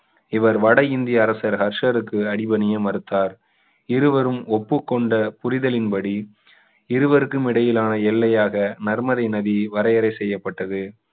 இவர் வட இந்திய அரசர் ஹர்ஷருக்கு அடி பணிய மறுத்தார் இருவரும் ஒப்புக்கொண்ட புரிதலின்படி இருவருக்கும் இடையிலான எல்லையாக நர்மதை நதி வரையறை செய்யப்பட்டது